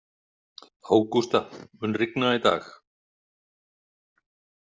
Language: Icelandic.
Ágústa, mun rigna í dag?